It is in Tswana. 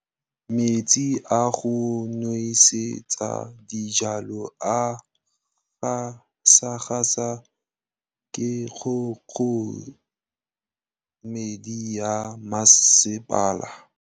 Metsi a go nosetsa dijalo a gasa gasa ke kgogomedi ya masepala.